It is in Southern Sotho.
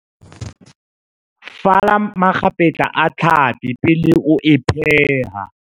Fala makgapetla a tlhapi pele o e pheha.